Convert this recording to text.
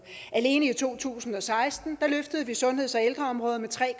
alene i to tusind og seksten løftede vi sundheds og ældreområdet med tre